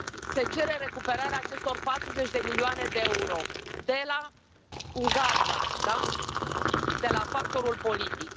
Se cere recuperarea acestor 40 de milioane de euro de la Ungaria, de la factorul politic.